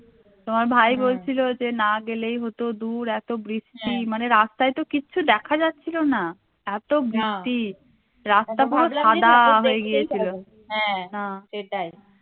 তোমার ভাই বলছিলো যে না গেলেই হতো দূর এতো বৃষ্টি মানে রাস্তায় তো কিচ্ছু দেখা যাচ্ছিলো না এতো বৃষ্টি রাস্তা পুরো সাদা হয়ে গিয়েছিলো হ্যা